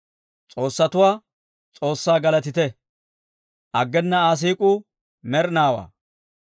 S'oossatuwaa S'oossaa galatite! Aggena Aa siik'uu med'inaawaa.